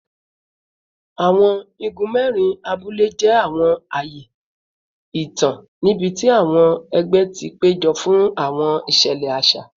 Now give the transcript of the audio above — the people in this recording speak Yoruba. Awọn igun mẹrin abule jẹ awọn aaye itan nibiti awọn ẹgbẹ ti pejọ fun awọn iṣẹlẹ aṣa